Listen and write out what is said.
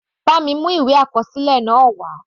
Bá mi mú ìwé àkọsílẹ̀ náà wá.